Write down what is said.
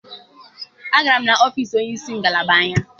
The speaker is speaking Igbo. Agara m n'ọfiisi onye isi ngalaba anyị.